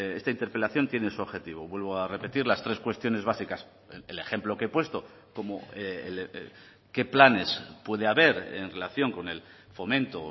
esta interpelación tiene su objetivo vuelvo a repetir las tres cuestiones básicas el ejemplo que he puesto como qué planes puede haber en relación con el fomento o